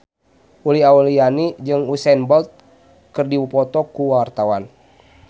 Uli Auliani jeung Usain Bolt keur dipoto ku wartawan